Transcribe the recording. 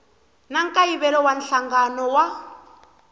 na nkayivelo wa nhlangano wa